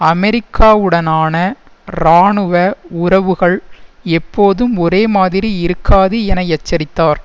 அமெரிக்காவுடனான இராணுவ உறவுகள் எப்போதும் ஒரேமாதிரி இருக்காது என எச்சரித்தார்